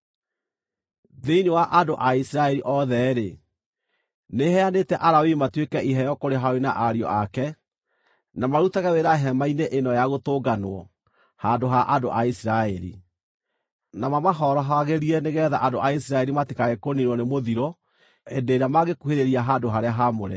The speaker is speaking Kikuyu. Thĩinĩ wa andũ a Isiraeli othe-rĩ, nĩheanĩte Alawii matuĩke iheo kũrĩ Harũni na ariũ ake, na marutage wĩra Hema-inĩ-ĩno-ya-Gũtũnganwo handũ ha andũ a Isiraeli, na mamahorohagĩrie nĩgeetha andũ a Isiraeli matikae kũniinwo na mũthiro hĩndĩ ĩrĩa mangĩkuhĩrĩria handũ-harĩa-haamũre.”